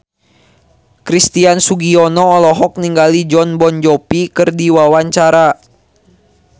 Christian Sugiono olohok ningali Jon Bon Jovi keur diwawancara